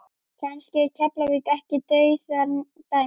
Kannski er Keflavík ekki dauðadæmt?